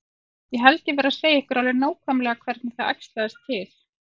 Ég held ég verði að segja ykkur alveg nákvæmlega hvernig það æxlaðist til.